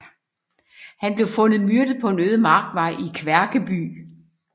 Han blev fundet myrdet på en øde markvej i Kværkeby